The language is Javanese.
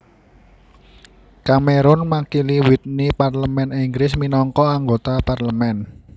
Cameron makili Witney parlemén Inggris minangka anggota parlemén